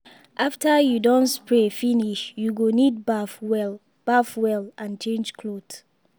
after you don spray finish you go need baff well baff well and change cloth.